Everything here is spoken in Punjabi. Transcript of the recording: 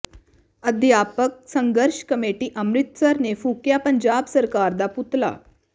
ਅਧਿਆਪਕ ਸੰਘਰਸ਼ ਕਮੇਟੀ ਅੰਮ੍ਰਿਤਸਰ ਨੇ ਫੂਕਿਆ ਪੰਜਾਬ ਸਰਕਾਰ ਦਾ ਪੁਤਲਾ